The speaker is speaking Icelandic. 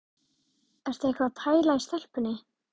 Ertu eitthvað að pæla í stelpunni?